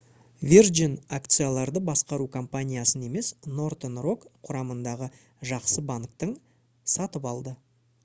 virgin акцияларды басқару компаниясын емес northern rock құрамындағы «жақсы банктің» сатып алды